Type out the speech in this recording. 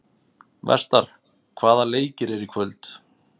Vestar, hvaða leikir eru í kvöld?